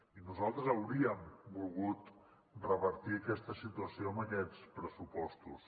i nosaltres hauríem volgut revertir aquesta situació amb aquests pressupostos